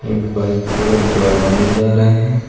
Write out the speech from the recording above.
एक बाइक पे दो आदमी जा रहे हैं।